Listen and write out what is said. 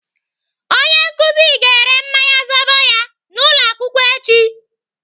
Onye nkụzi ga-ere mmanya zobo ya n'ụlọakwụkwọ echi.